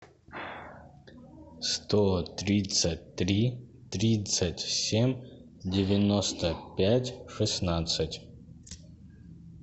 сто тридцать три тридцать семь девяносто пять шестнадцать